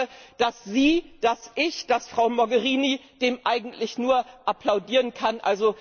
Ich glaube, dass Sie, dass ich, dass Frau Mogherini dem eigentlich nur applaudieren können.